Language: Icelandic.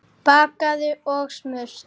Bakað og smurt.